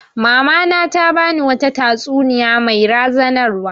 Mama na ta ba ni wata tatsuniya mai razanarwa